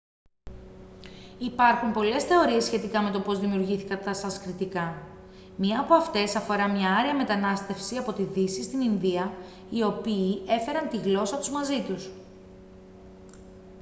υπάρχουν πολλές θεωρίες σχετικά με το πώς δημιουργήθηκαν τα σανσκριτικά μια από αυτές αφορά μια άρια μετανάστευση από τη δύση στην ινδία οι οποίοι έφεραν τη γλώσσα τους μαζί τους